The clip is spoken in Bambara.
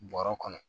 Bɔrɛ kɔnɔ